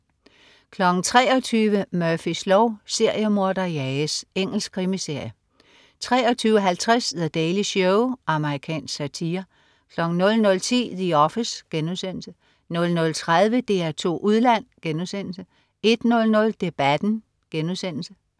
23.00 Murphys lov: Seriemorder jages. Engelsk krimiserie 23.50 The Daily Show. Amerikansk satire 00.10 The Office* 00.30 DR2 Udland* 01.00 Debatten*